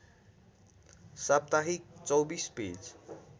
साप्ताहिक २४ पेज